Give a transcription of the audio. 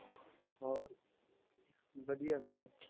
ਹੋਰ ਵਧੀਆ ਭੈਣੇ